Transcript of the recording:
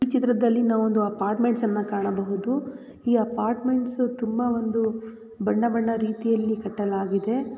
ಈ ಚಿತ್ರದಲ್ಲಿ ನಾವು ಒಂದು ಅಪಾರ್ಟ್ಮೆಂಟ್ಸ್ ನ ಕಾಣಬಹುದು. ಈ ಅಪಾರ್ಟ್ಮೆಂಟ್ಸು ತುಂಬಾ ಒಂದು ಬಣ್ಣ ಬಣ್ಣ ರೀತಿಯಲ್ಲಿ ಕಟ್ಟಲಾಗಿದೆ.